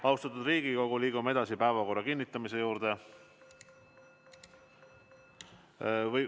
Austatud Riigikogu, liigume edasi päevakorra kinnitamise juurde.